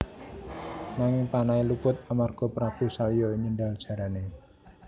Nanging panahé luput amarga Prabu Salya nyendhal jarané